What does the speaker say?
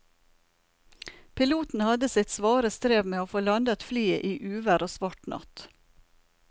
Piloten hadde sitt svare strev med å få landet flyet i uvær og svart natt.